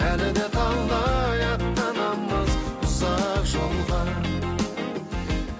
әлі де талай аттанамыз ұзақ жолға